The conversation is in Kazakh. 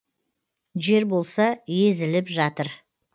жер болса езіліп жатыр